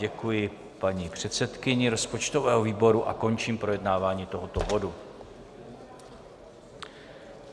Děkuji paní předsedkyni rozpočtového výboru a končím projednávání tohoto bodu.